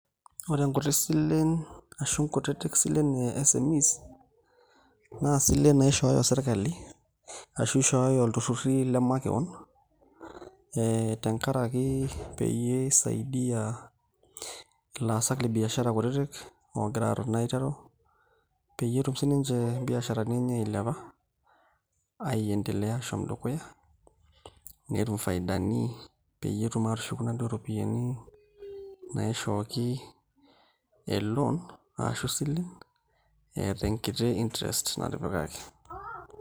Ore nkuti silen ashu nkutitik silen e SMEs naa isilen naishooyo sirkali ashu ishooyo ilturruri le makewon ee tenkaraki peyie isaidia ilaasak le biashara kutitik oogira aaton aiteru peyie etum sininche mbiasharani enye ailepa aiendelea ashom dukuya netum ifaidani peyie etum aatushuku inaduo ropiyiani naishooki e loan ashu isilen eeta enkiti interest natipikaki.